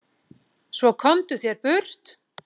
Svo komdu þér burt.